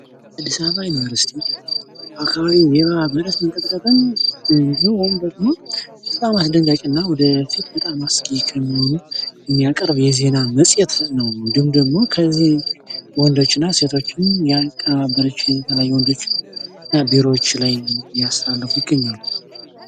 ዜና የሰብዓዊ መብቶችን በመጠበቅ፣ ድምጽ ለሌላቸው ድምጽ በመሆንና ማህበራዊ ፍትህን በማስፈን ረገድ ወሳኝ ሚና ይጫወታል።